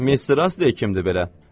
Mister Asley kimdir belə?